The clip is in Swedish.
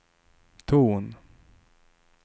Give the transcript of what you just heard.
ton